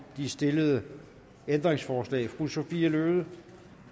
de stillede ændringsforslag fru sophie løhde